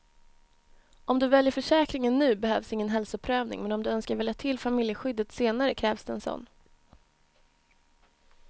Om du väljer försäkringen nu behövs ingen hälsoprövning, men om du önskar välja till familjeskyddet senare krävs det en sådan.